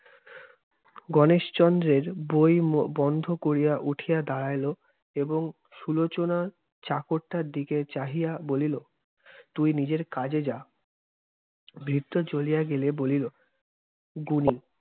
গনেশচন্দ্রের বই বন্ধ করিয়া উঠিয়া দাঁড়াইল এবং সুলোচনা চাকরটার দিকে চাহিয়া বলিল, তুই নিজের কাজে যা। ভৃত্য চলিয়া গেলে বলিল, গুণী